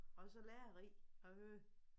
Og så lærerig at høre